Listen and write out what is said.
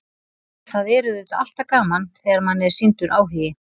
Það er auðvitað alltaf gaman þegar manni er sýndur áhugi.